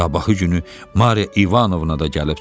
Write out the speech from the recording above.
Sabahı günü Mariya İvanovna da gəlib çıxdı.